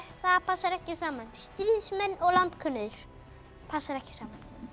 það passar ekki saman stríðsmenn og landkönnuðir passar ekki saman